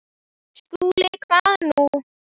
SKÚLI: Hvað nú?